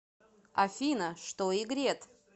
афина что игрет